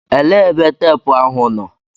Elee ebe teepụ ahụ nọ?